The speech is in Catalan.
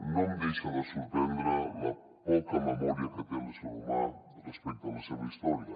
no em deixa de sorprendre la poca memòria que té l’ésser humà respecte a la seva història